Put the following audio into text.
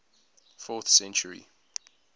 fourth century